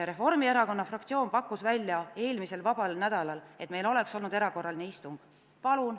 Reformierakonna fraktsioon pakkus välja, et meil eelmisel vabal nädalal oleks olnud erakorraline istung.